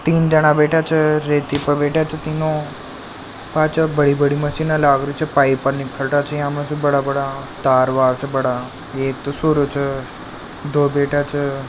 तीन जाना बेठा छे रेती प् बेठा छे तीनो पाछ बड़ी बड़ी मशीन लाग री छे पाइप निकल रहे छे या मु से बड़े बड़ा तार बार बड़ा एक तो सोरा च दो बेठा छे।